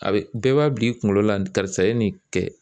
A bi bɛɛ b'a bila i kunkolo la karisa ye nin kɛ